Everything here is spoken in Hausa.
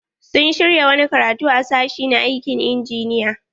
Sun shirya wani karatu a sashi na aikin injiniya.